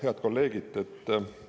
Head kolleegid!